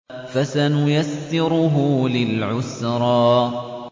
فَسَنُيَسِّرُهُ لِلْعُسْرَىٰ